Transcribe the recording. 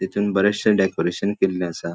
तितुन बरेचशे डेकोरेशन केल्ले असा.